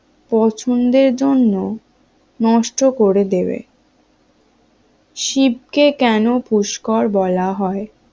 পছন্দের জন্য নষ্ট করে দেবে শিবকে শিবকে কেন পুস্কর বলা হয়?